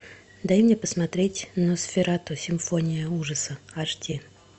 дай мне посмотреть носферату симфония ужаса аш ди